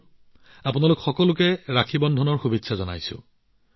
আগতীয়াকৈ আপোনালোক সকলোকে ৰাখী বন্ধনৰ শুভেচ্ছা জনালোঁ